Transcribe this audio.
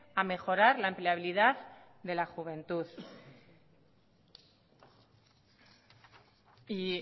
a mejorar la empleabilidad de la juventud y